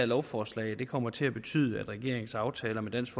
lovforslag kommer til at betyde at regeringens aftaler med dansk